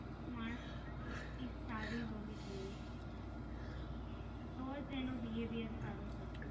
માણસ માં કોલેટી સારી હોવી જોઈએ તો જ એનું Behavior સારું થશે.